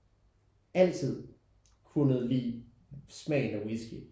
Altid kunne lide smagen af whisky